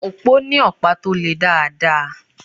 Òpó ní ọ̀pá tó le dáadáa.